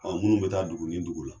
Ɔ munnu bɛ taa dugu ni dugu la.